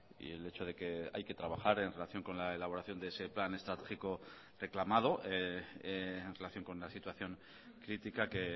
y el hecho de que hay que trabajar en relación con la elaboración de ese plan estratégico reclamado en relación con la situación crítica que